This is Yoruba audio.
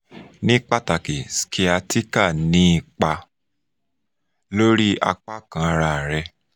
ni pataki sciatica ni ipa lori apa kan ara re